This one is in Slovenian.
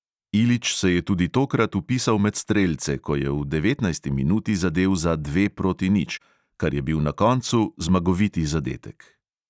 Ilić se je tudi tokrat vpisal med strelce, ko je v devetnajsti minuti zadel za dve proti nič, kar je bil na koncu zmagoviti zadetek.